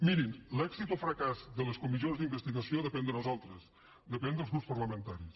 mirin l’èxit o fracàs de les comissions d’investigació depèn de nosaltres depèn dels grups parlamentaris